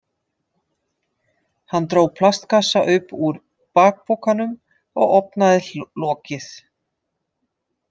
Hann dró plastkassa upp úr bakpokanum og opnaði lokið.